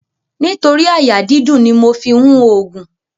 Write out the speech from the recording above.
Nítorí àyà dídùn ni mo fi ń òògùn.